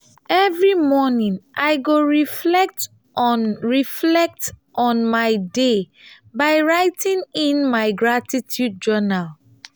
every morning i go reflect on reflect on my day by writing in my gratitude journal.